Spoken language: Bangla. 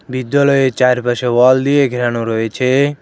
বিদ্যালয়ের চারপাশে ওয়াল দিয়ে ঘেরানো রয়েছে।